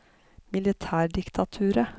militærdiktaturet